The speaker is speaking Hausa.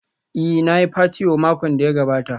Ee, na yi patewo makon da ya gabata.